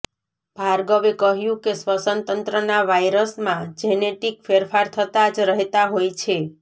ભાર્ગવે કહ્યું કે શ્વસનતંત્રના વાયરસમાં જેનેટિક ફેરફાર થતા જ રહેતા હોય છે